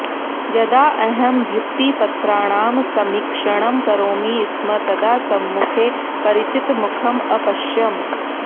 यदा अहं भित्तिपत्राणां समीक्षणं करोमि स्म तदा सम्मुखे परिचितमुखम् अपश्यम्